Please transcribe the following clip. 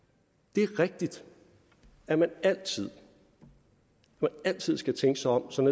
det er rigtigt at man altid altid skal tænke sig om som